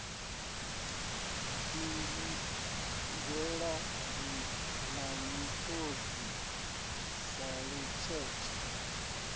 shingizhela na miṱodzi sa lutshetshe